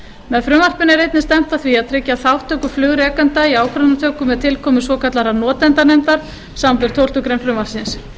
með frumvarpinu er einnig stefnt að því að tryggja þátttöku flugrekenda í ákvarðanatöku með tilkomu svokallaðrar notendanefndar samanber tólftu greinar frumvarpsins